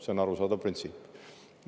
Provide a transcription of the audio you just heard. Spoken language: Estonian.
See on arusaadav printsiip.